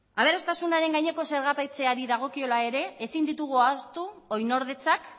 aberastasunaren gaineko zergapetzeari dagokiola ere ezin ditugu ahaztu oinordetzak